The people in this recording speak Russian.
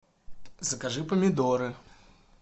закажи помидоры